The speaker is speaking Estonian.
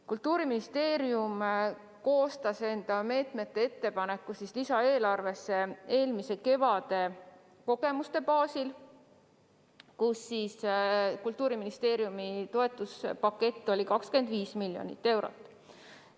Kultuuriministeerium koostas enda meetmete ettepaneku lisaeelarve tarbeks eelmise kevade kogemuste baasil, tol ajal oli Kultuuriministeeriumi toetuspakett 25 miljonit eurot.